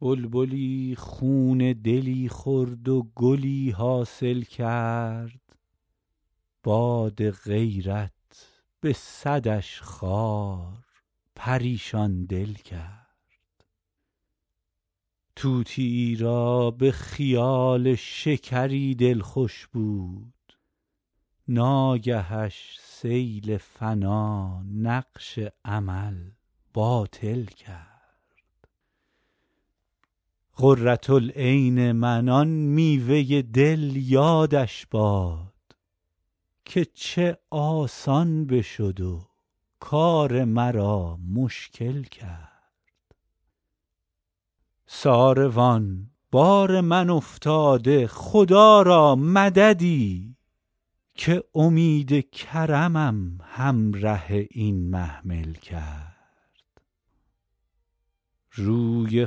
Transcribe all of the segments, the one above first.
بلبلی خون دلی خورد و گلی حاصل کرد باد غیرت به صدش خار پریشان دل کرد طوطیی را به خیال شکری دل خوش بود ناگهش سیل فنا نقش امل باطل کرد قرة العین من آن میوه دل یادش باد که چه آسان بشد و کار مرا مشکل کرد ساروان بار من افتاد خدا را مددی که امید کرمم همره این محمل کرد روی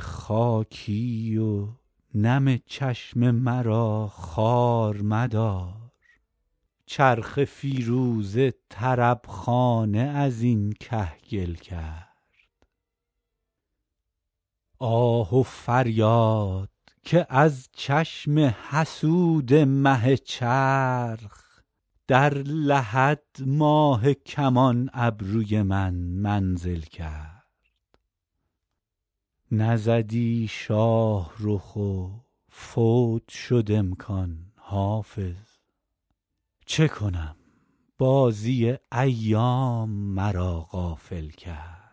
خاکی و نم چشم مرا خوار مدار چرخ فیروزه طرب خانه از این کهگل کرد آه و فریاد که از چشم حسود مه چرخ در لحد ماه کمان ابروی من منزل کرد نزدی شاه رخ و فوت شد امکان حافظ چه کنم بازی ایام مرا غافل کرد